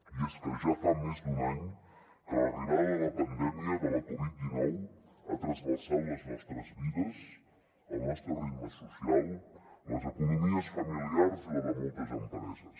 i és que ja fa més d’un any que l’arribada de la pandèmia de la covid dinou ha trasbalsat les nostres vides el nostre ritme social les economies familiars i la de moltes empreses